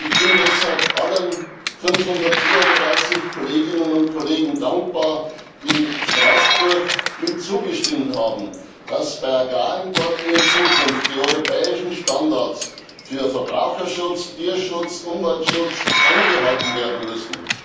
Ich bin deshalb allen 534 Kolleginnen und Kollegen dankbar, die in Straßburg zugestimmt haben, dass bei Agrarimporten in Zukunft die europäischen Standards für Verbraucherschutz, Tierschutz, Umweltschutz eingehalten werden müssen.